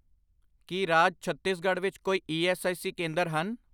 ਕੀ ਰਾਜ ਛੱਤੀਸਗੜ੍ਹ ਵਿੱਚ ਕੋਈ ਈ ਐੱਸ ਆਈ ਸੀ ਕੇਂਦਰ ਹਨ ?